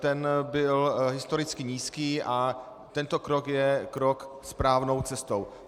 Ten byl historicky nízký a tento krok je krok správnou cestou.